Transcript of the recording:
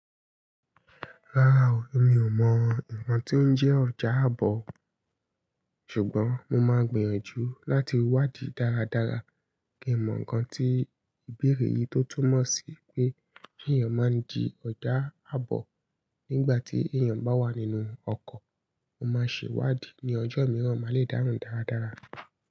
Rárá o, èmi ò mọ̀ nǹkan tí ó ń jẹ́ ọjà ábọ̀, ṣùgbọ́n mo máa gbìyànjú láti wádìí dáradára kí n mọ̀ ǹkan tí ìbéèrè yìí tó túmọ̀ sí pé ki èyàn máa ń dí ọjà ábọ̀ nígbà tí èèyàn bá wà nínú ọkọ̀. Mo máa ṣe wádìí ní ọjọ́ mìíràn, màá le dáhun dáradára.